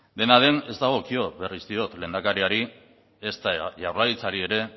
dena den ez dagokio berriz diot lehendakariari ezta jaurlaritzari ere